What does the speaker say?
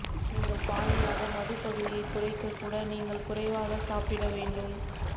நீங்கள் பாதியாக மது பகுதியை குறைக்க கூட நீங்கள் குறைவாக சாப்பிட வேண்டும்